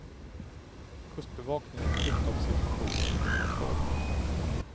Kustbevakningen fick dock situationen under kontroll.